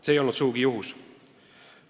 See ei olnud sugugi juhus.